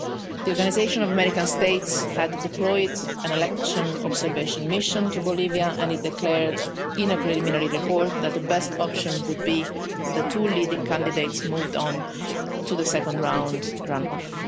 The Organisation of American States had deployed an election observation mission to Bolivia and it declared, in a preliminary report, that the best option would be for the two leading candidates to move on to the second round run off.